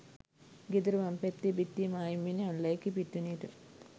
ගෙදර වම් පැත්තේ බිත්තිය මායිම් වෙන්නෙ අනුලා එකේ පිට්ටනියට.